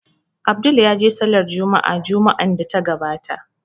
Abdul ya je Sallar Jumma'a Juma'an da ta gabata